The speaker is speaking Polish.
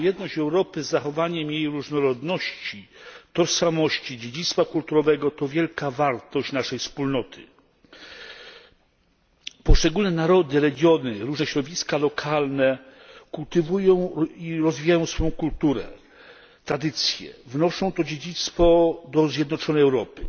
Jedność Europy z zachowaniem jej różnorodności, tożsamości, dziedzictwa kulturowego to wielka wartość naszej Wspólnoty. Poszczególne narody, regiony, różne środowiska lokalne kultywują i rozwijają swoją kulturę, tradycję, wnoszą to dziedzictwo do zjednoczonej Europy,